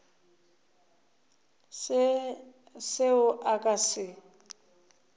se seo a ka se